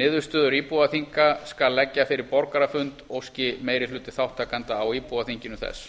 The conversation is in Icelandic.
niðurstöður íbúaþinga skal leggja fyrir borgarafund óski meiri hluti þátttakenda á íbúaþinginu þess